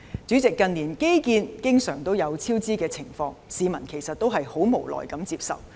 主席，近年的基建經常出現超支，市民只能無奈接受。